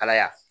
Kalaya